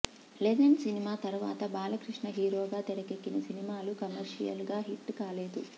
legend సినిమా తరువాత బాలకృష్ణ హీరోగా తెరకెక్కిన సినిమాలు కమర్షియల్ గా హిట్ కాలేదు